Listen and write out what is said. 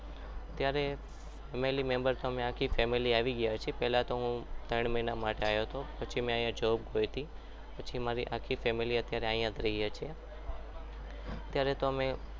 અત્યારે family member આખી family member આવી ગયા છે પહેલા હું ત્રણ મહિના માટે આવ્યો હતો પછી મેં અહીંયા job કરી પછી મારી આખી family અહીંયા રહીએ છીએ અત્યારે તો અમે